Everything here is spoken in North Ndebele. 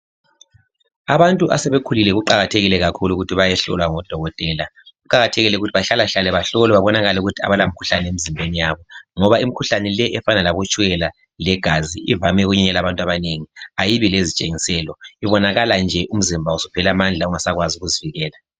Abantu asebekhulile kuqakathekile kakhulu ukuthi bayehlolwa ngodokotela. Kuqakathekile ukuthi bahlalahlale bahlolwe babonakale ukuthi akulamkhuhlane emzimbeni yabo ngoba imikhuhlane leyi efana labotshukela legazi ivame ukubulala abantu abanengi ayibi lezitshengiselo ibonakala nje umzimba usuphele amandla ungasakwazi ukuzivikela.